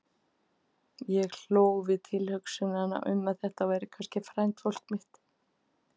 Og ég hló við tilhugsunina um að kannski væri þetta frændfólk mitt.